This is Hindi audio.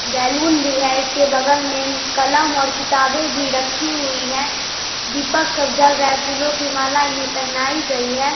बैलून भी है इसके बगल में कलम और किताबे भी रखी हुई है दीपक सब जल रहे है फूलो की माला इन्हे पहनाई गयी है।